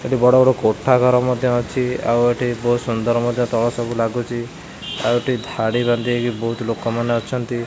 ଏଠି ବଡ଼ ବଡ଼ କୋଠା ଘର ମଧ୍ୟ ଅଛି ଆଉ ଏଠି ବହୁତ ସୁନ୍ଦର ମଧ୍ୟ ତଳ ସବୁ ଲାଗୁଚି ଆଉ ଏଠି ଧାଡ଼ି ବାନ୍ଧି ହେଇକି ବହୁତ ଲୋକମାନେ ଅଛନ୍ତି।